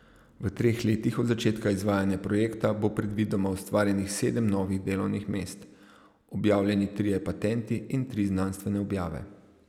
V treh letih od začetka izvajanja projekta bo predvidoma ustvarjenih sedem novih delovnih mest, objavljeni trije patenti in tri znanstvene objave.